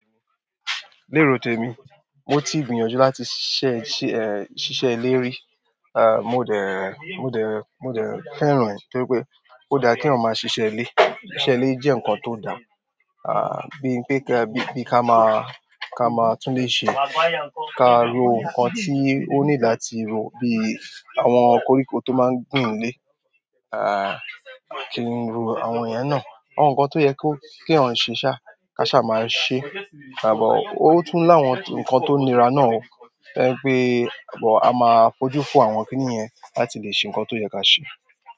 Ni ero temi, moti gbìyànjú láti ṣiṣẹ ile ri ah, mo dẹ, mo dẹ, mo dẹ fẹ́ràn rẹ̀ torí pé ó dá kí eyan máa ṣiṣẹ́ ilé. Iṣẹ́ ilé jẹ́ ǹkan tó da. Ah, bíi pé ká, bí, bí ká máa, ká máa tún lè ṣe, ká ro ǹkan tí ó need láti ro, bíi àwọn koríko tó máa ń gùn ilé. Aaa àwọn iyẹn náà àwọn ǹkan tó yẹ kó, kí eyan ṣe ṣá, ká ṣá máa ṣe. Àbàwọ́ ó tún láwọn ǹkan tó nira náà ó. Torí pé but a máa fojú fo àwọn kíní yẹn láti lè ṣe ǹkan tó yẹ ká ṣe.